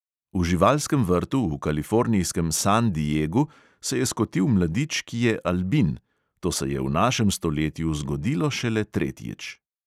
V živalskem vrtu v kalifornijskem san diegu se je skotil mladič, ki je albin – to se je v našem stoletju zgodilo šele tretjič.